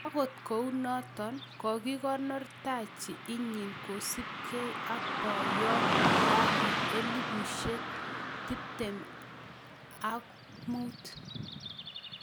agot kounot kogigonor taji inyin kosupkei ak poyot dangi 2015